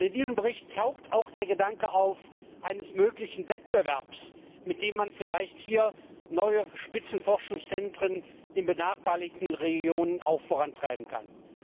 In diesem Bericht taucht auch der Gedanke eines möglichen Wettbewerbs auf, mit dem man vielleicht hier neue Spitzenforschungszentren in benachbarten Regionen vorantreiben kann.